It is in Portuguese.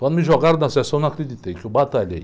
Quando me jogaram da sessão, eu não acreditei, que eu batalhei.